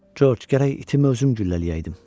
Corc, gərək itimi özüm güllələyəydim.